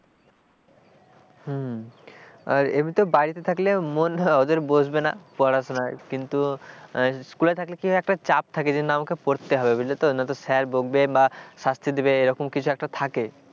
হম এবার তো বাড়িতে থাকলে মন ওদের বসবে না পড়াশোনায় কিন্তু school থাকলে কি একটা চাপ থাকে যেন আমাকে পড়তে হবে বুঝলে না তো sir বকবে বা শাস্তি দেবে এরকম কিছু একটা থাকে,